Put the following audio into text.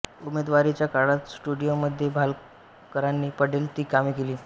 उमेदवारीच्या काळात स्टुडिओमध्ये भालकरांनी पडेल ती कामे केली